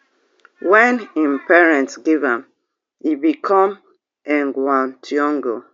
wen im parents give am e become thiongo